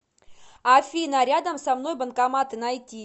афина рядом со мной банкоматы найти